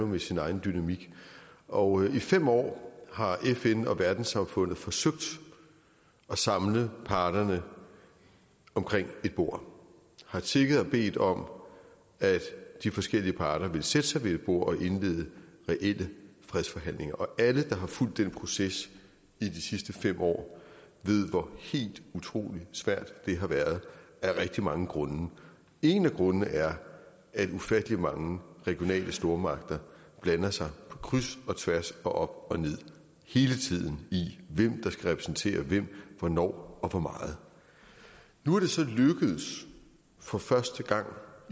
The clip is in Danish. med sin egen dynamik og i fem år har fn og verdenssamfundet forsøgt at samle parterne omkring et bord har tigget og bedt om at de forskellige parter ville sætte sig ved et bord og indlede reelle fredsforhandlinger og alle der har fulgt den proces i de sidste fem år ved hvor helt utrolig svært det har været af rigtig mange grunde en af grundene er at ufattelig mange regionale stormagter blander sig på kryds og tværs og op og ned hele tiden i hvem der skal repræsentere hvem hvornår og hvor meget nu er det så for første gang